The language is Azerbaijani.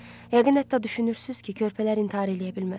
Yəqin hətta düşünürsünüz ki, körpələr intihar eləyə bilməz.